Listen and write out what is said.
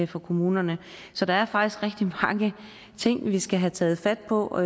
for kommunerne så der er faktisk rigtig mange ting vi skal have taget fat på